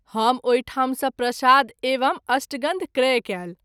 हम ओहि ठाम सँ प्रसाद एवं अष्टगंध क्रय कयल।